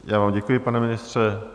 Já vám děkuji, pane ministře.